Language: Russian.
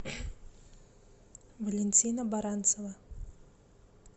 валентина баранцева